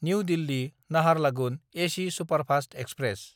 new दिल्ली–नाहारलागुन AC superfast express